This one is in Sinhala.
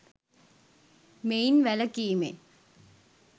මෙයින් වැළකීමෙන්